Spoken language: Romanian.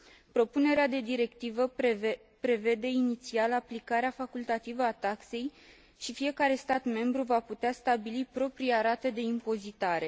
Propunerea de directivă prevede inițial aplicarea facultativă a taxei și fiecare stat membru va putea stabili propria rată de impozitare.